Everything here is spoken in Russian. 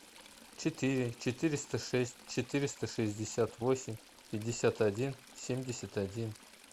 четыре четыреста шесть четыреста шестьдесят восемь пятьдесят один семьдесят один